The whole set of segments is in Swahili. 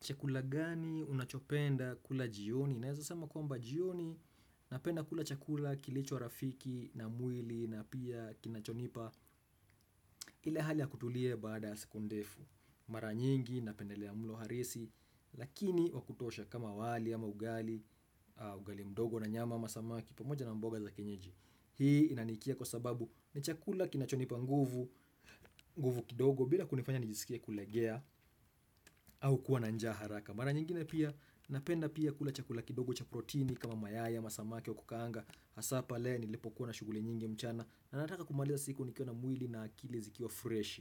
Chakula gani unachopenda kula jioni? Naweza sema kwamba jioni napenda kula chakula kilicho wa rafiki na mwili na pia kinachonipa ili hali kutulie baada ya siku ndefu. Mara nyingi napendelea mlo harisi lakini wakutosha kama wali ama ugali, ugali mdogo na nyama ama samaki pamoja na mboga za kenyeji. Hii inanikia kwa sababu ni chakula kinachonipa nguvu, nguvu kidogo bila kunifanya nijisikie kulegea au kuwa njaa haraka. Mara nyingine pia napenda pia kula chakula kidogo cha proteini kama mayai, ama samaki wa kukanga, hasa pa lea nilepo kuna shughuli nyingi mchana na nataka kumaliza siku nikiwa mwili na akili zikiwa fresh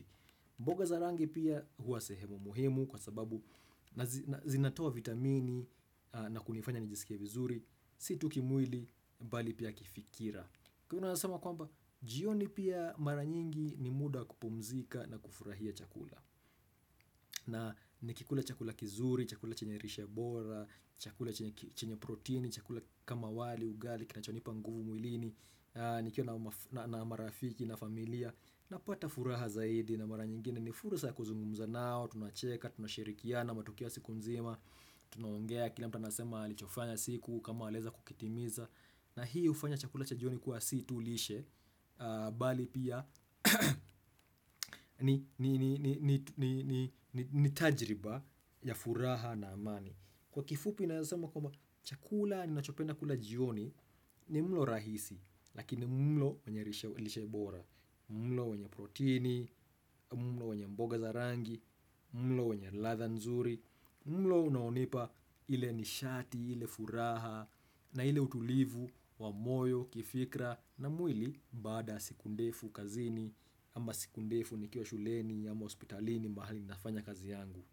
mboga za rangi pia hua sehemu muhimu kwa sababu zinatoa vitamini na kunifanya nijisikie vizuri si tukimwili bali pia kifikira kunanasema kwamba, jioni pia mara nyingi ni muda kupumzika na kufurahia chakula na nikikula chakula kizuri, chakula chenye lishebora, chakula chenye protein, chakula kama wali, ugali, kinachonipa nguvu mwilini, nikiwa na marafiki na familia Napata furaha zaidi na mara nyingine ni fursa kuzungumza nao, tunacheka, tunashirikiana, matukio siku nzima, tunongea kila mtu anasema alichofanya siku kama alieza kukitimiza na hii hufanya chakula cha jioni kuwa si tulishe bali pia ni tajiriba ya furaha na amani kwa kifupi naweza sema kwamba chakula ni nachopenda kula jioni ni mlo rahisi lakini mlo wenye lishebora mlo wenye proteini, mlo wenye mboga za rangi mlo wenye ladha nzuri mlo unaonipa ile nishati, ile furaha na hile utulivu, wamoyo, kifikira na mwili baada ya siku ndefu kazini ama sikundefu nikio shuleni ama hospitalini mahali nafanya kazi yangu.